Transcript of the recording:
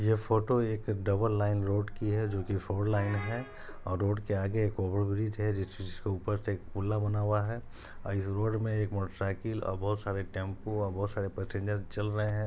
ये फोटो एक double line road की है जो की फोर लाइन हैं और रोड आगे एक ओवर ब्रिज है जिसके ऊपर से बना हुआ है इस रोड में एक मोटर साइकिल और बहोत सारे टेम्पू और बहुत सारे पेसेंजर चल रहे है।